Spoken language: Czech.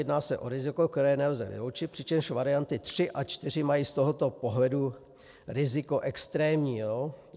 Jedná se o riziko, které nelze vyloučit, přičemž varianty 3 a 4 mají z tohoto pohledu riziko extrémní.